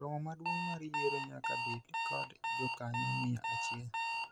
romo maduong' mar yiero nyaka bed kod jokanyo mia achiel